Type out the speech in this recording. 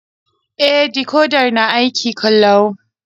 E, dikodar na aiki ƙalau.